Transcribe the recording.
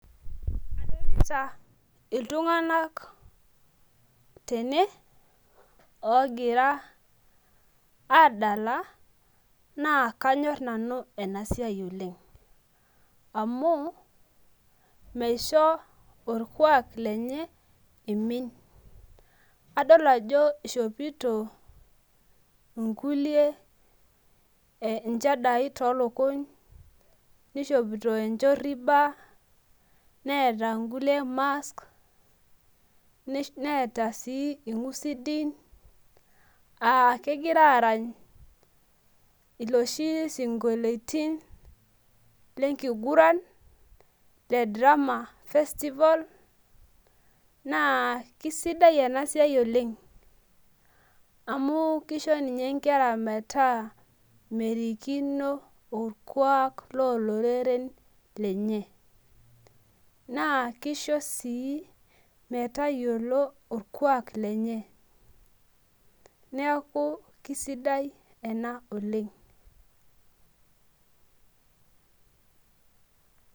adolita iltunganak tene ongira adala, na kanyorr nanu ena siai oleng, amu meisho olkuak lenye emin, kadol ajo ishopito inkulie inshadai tolukuny, nishopito enshoriba neeta inkulie mask, neeta si inkusidin aa kengira arany iloshi sinkoloitin lenkuguran, le drama festival na keisidai ena siai oleng, amu kisho ninye enkera meeta merikino olkuak lo loreren lenye na kisho si metayiolo olkuak lenye niaku kisidai ena oleng.